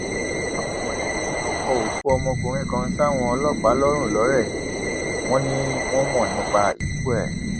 àwọn mọlẹbí bínú kó òkú ọmọkùnrin kan sáwọn ọlọpàá lọrun lọrẹ wọn ni wọn mọ nípa ikú ẹ